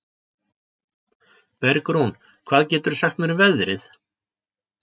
Bergrún, hvað geturðu sagt mér um veðrið?